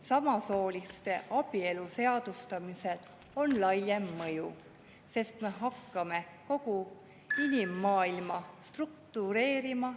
Samasooliste abielu seadustamisel on laiem mõju, sest me hakkame kogu inimmaailma teistmoodi struktureerima.